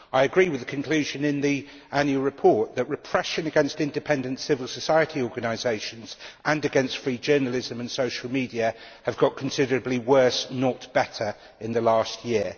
I agree with the conclusion in the annual report that repression against independent civil society organisations and against free journalism and social media have got considerably worse, not better, in the last year.